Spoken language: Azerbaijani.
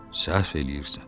səhv eləyirsən.